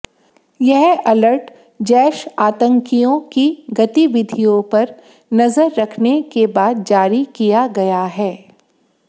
यह अलर्ट जैश आतंकियों की गतिविधियों पर नजर रखने के बाद जारी किया गया है